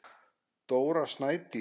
Dóra Snædís.